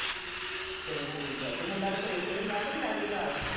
ਚੱਲੋ ਠੀਕ ਹੈ, ਅਤੇ ਮੁੰਡਾ ਤੇਰੇ ਕੋਲ ਇੱਥੇ ਹੁੰਦਾ ਕਿ ਉਹ ਨਾਲ ਲੈ ਗਈ ਨਾਲ